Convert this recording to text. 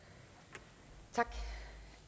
det